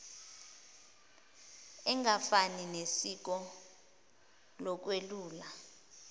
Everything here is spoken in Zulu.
engafani nesiko lokwelula